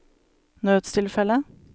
nødstilfelle